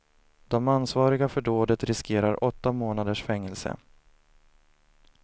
De ansvariga för dådet riskerar åtta månaders fängelse.